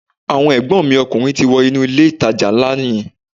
Àwọn ègbón mi ọkùnrin ti wọ inú ilé ìtajà nlá yẹn